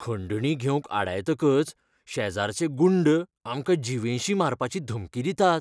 खंडणी घेवंक आडायतकच शेजराचे गुंड आमकां जीवेशीं मारपाची धमकी दितात